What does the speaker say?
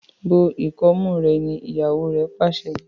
bó ikọmu rẹ! ní ìyàwó re pàṣẹ.